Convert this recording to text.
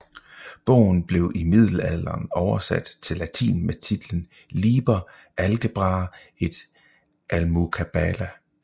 Bogen blev i middelalderen oversat til latin med titlen Liber algebrae et almucabala